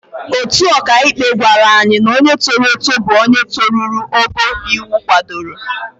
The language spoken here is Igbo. Otu ọkàikpe gwara anyị na onye toro eto bụ onye toruru ogo iwu kwadoro.